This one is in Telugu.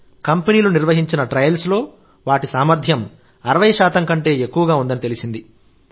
కంపెనీలు నిర్వహించిన ట్రయల్స్ లో వాటి సామర్థ్యం 60 కంటే ఎక్కువగా ఉందని తెలిసింది